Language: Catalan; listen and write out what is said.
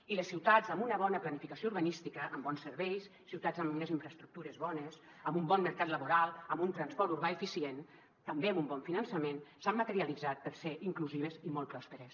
i les ciutats amb una bona planificació urbanística amb bons serveis ciutats amb unes infraestructures bones amb un bon mercat laboral amb un transport urbà eficient també amb un bon finançament s’han caracteritzat per ser inclusives i molt pròsperes